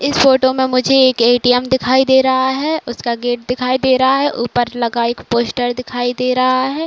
इस फोटो में मुझे एक ए_टी_एम दिखाई दे रहा है। उसका गेट दिखाई दे रहा है। ऊपर लगा एक पोस्टर दिखाई दे रहा है।